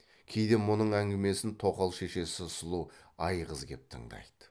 кейде мұның әңгімесін тоқал шешесі сұлу айғыз кеп тыңдайды